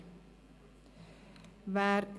Entschuldigung, es ist ein Postulat.